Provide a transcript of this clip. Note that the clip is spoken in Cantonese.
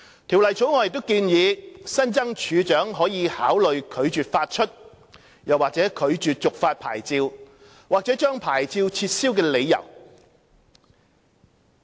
《條例草案》亦建議新增處長可考慮拒絕發出/續發牌照或將牌照撤銷的理由。